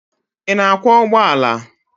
Ị na-akwọ ụgbọala?